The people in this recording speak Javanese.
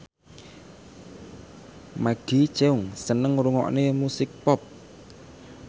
Maggie Cheung seneng ngrungokne musik pop